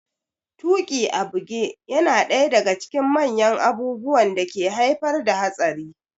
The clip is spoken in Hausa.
Tuƙi a buge yana daya daga cikin manyan abubuwan da ke haifar da hatsari